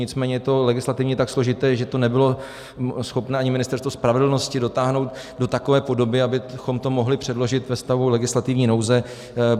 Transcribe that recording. Nicméně je to legislativně tak složité, že to nebylo schopné ani Ministerstvo spravedlnosti dotáhnout do takové podoby, abychom to mohli předložit ve stavu legislativní nouze.